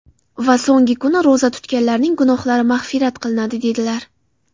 Va so‘nggi kuni, ro‘za tutganlarning gunohlari mag‘firat qilinadi” , dedilar.